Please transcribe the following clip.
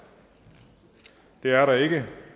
det er der ikke